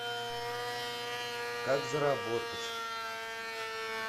как заработать